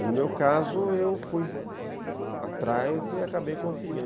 E, no meu caso, eu fui atrás e acabei conseguindo.